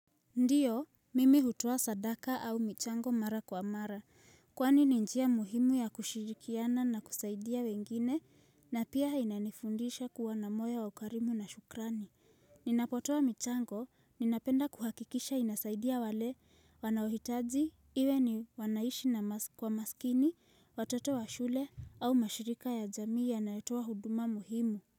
Ndiyo, mimi hutua sadaka au michango mara kwa mara, kwani ninjia muhimu ya kushirikiana na kusaidia wengine, na pia hainanifundisha kuwa na moyo wa ukarimu na shukrani. Ninapotoa michango, ninapenda kuhakikisha inasaidia wale wanahitaji, iwe ni wanaishi na kwa maskini, watoto wa shule, au mashirika ya jamii ya nayetua huduma muhimu.